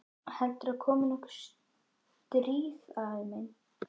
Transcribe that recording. Heldurðu að komi nokkuð stríð, afi minn?